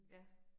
Ja